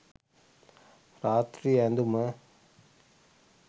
රාත්‍රී ඇඳුම